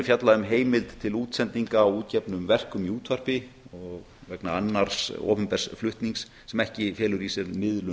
fjallað um heimild til útsendinga á útgefnum verkum í útvarpi og vegna annars opinbers flutnings sem ekki felur í sér miðlun